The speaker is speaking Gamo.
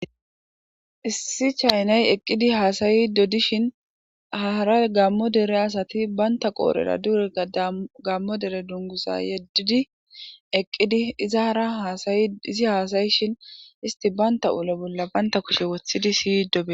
issi chaynay eqqidi haasayi dodishin hara gammo dere asati baynta qoorera duureka gammo dere dungusa yeddidi eqqidi izara haasayi izi haasayishin isti banta ulo bolla baynta kushe woththidi siy dobe